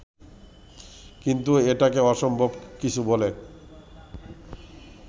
কিন্তু এটাকে অসম্ভব কিছু বলে